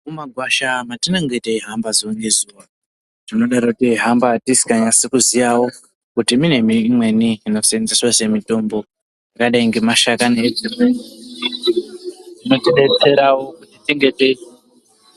Mumagwasha matinenge teihamba zuwa ngezuwa, tinodaro teihamba tisinganyasi kuziyawo kuti mune miti inweni inosenzeswa semitombo yakadai ngemashakani, edzimwe miti inotidetsera kutitinge tei.....